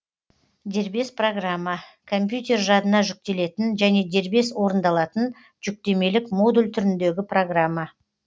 дербес программа компьютер жадына жүктелетін және дербес орындалатын жүктемелік модуль түріндегі программа